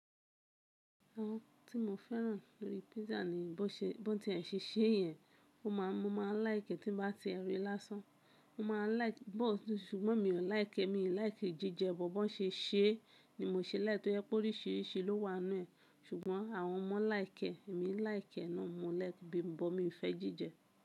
Àwọn tí mo fẹ́ràn lórí pizza ni bó ti ẹ̀ ń ṣe iṣẹ́ yẹn, mo máa láìkẹ́ tí ń bá ti ẹ rí lásán. Mo máa láìkẹ́, ṣùgbọ́n mi ò láìkẹ́, mi ò láìkẹ́ jíjẹ bọ̀ bó ṣe iṣẹ́ ni mo ṣe láìpẹ́ torí pé oríṣìíríṣìí ló wà nínú ẹ̀. Ṣùgbọ́n àwọn ọmọ láìkẹ́, èmi láì kẹ́ ẹ náà, mo lè bímọ, mi ò fẹ́ jíjẹ.